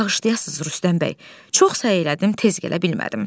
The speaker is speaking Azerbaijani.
Bağışlayasız Rüstəm bəy, çox səylədim, tez gələ bilmədim.